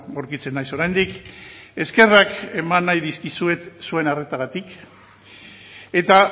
aurkitzen naiz oraindik eskerrak eman nahi dizkizuet zuen arretagatik eta